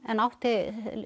en átti